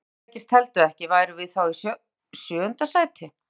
Ef vináttuleikir teldu ekki, værum við þá í sjöunda sæti?